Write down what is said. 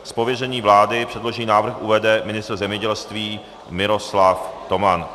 Z pověření vlády předložený návrh uvede ministr zemědělství Miroslav Toman.